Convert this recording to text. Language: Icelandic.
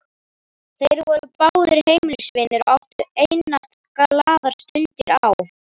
Þeir voru báðir heimilisvinir og áttu einatt glaðar stundir á